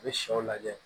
U bɛ shɛw lajɛ